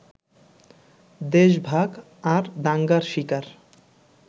দেশভাগ আর দাঙ্গার শিকার